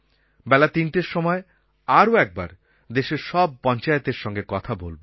বেলা তিনটের সময় আরও একবার দেশের সব পঞ্চায়েতএর সঙ্গে কথা বলব